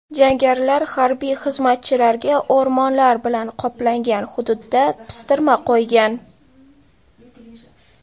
Jangarilar harbiy xizmatchilarga o‘rmonlar bilan qoplangan hududda pistirma qo‘ygan.